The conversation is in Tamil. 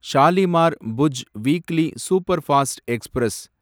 Shalimar Bhuj weekly superfast express